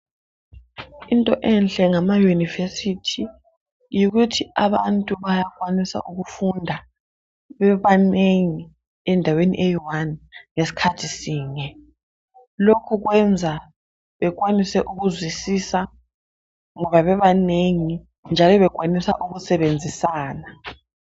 Into enhle ngama university yikuthi abantu bayakwanisa ukufunda bebanengi endaweni eyi wani ngesikhathi sinye lokhu kwenza bekwanise ukuzwisisa ngaboa bebanengi njalo bekwanisa ukusebenzisana